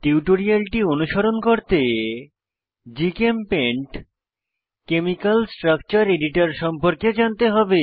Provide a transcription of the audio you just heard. টিউটোরিয়ালটি অনুসরণ করতে জিচেমপেইন্ট কেমিকাল স্ট্রাকচার এডিটর সম্পর্কে জানতে হবে